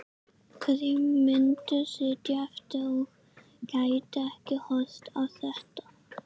Hverjir myndu sitja eftir og gætu ekki horft á þetta?